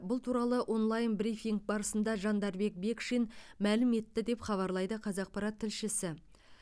бұл туралы онлайн брифинг барысында жандарбек бекшин мәлім етті деп хабарлайды қазақпарат тілшісі